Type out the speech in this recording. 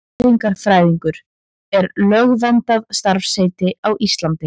Næringarfræðingur er lögverndað starfsheiti á Íslandi.